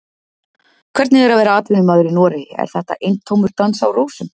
Hvernig er að vera atvinnumaður í Noregi, er þetta eintómur dans á rósum?